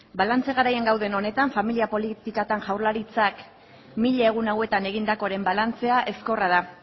balantze garaian gauden honetan familia politiketan jaurlaritzak mila egun hauetan egindakoren balantzea ezkorra da